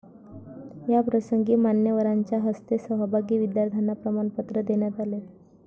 याप्रसंगी मान्यवरांच्या हस्ते सहभागी विद्यार्थ्यांना प्रमाणपत्र देण्यात आले.